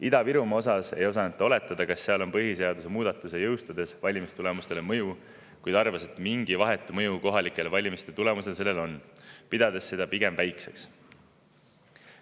Ida-Virumaa kohta ei osanud ta oletada, kas seal on põhiseaduse muudatuse jõustumisel valimistulemustele mõju, kuid arvas, et mingi vahetu mõju kohalike valimiste tulemustele sellel on, pidades seda pigem väikseks.